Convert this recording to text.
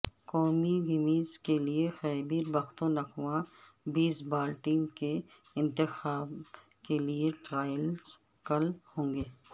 قومی گیمز کیلئے Khyber Pakhtunkhwa baseball team کے انتخاب کیلئے ٹرائلز کل ہونگے